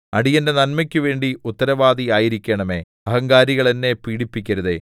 അടിയന്റെ നന്മയ്ക്കുവേണ്ടി ഉത്തരവാദി ആയിരിക്കണമേ അഹങ്കാരികൾ എന്നെ പീഡിപ്പിക്കരുതേ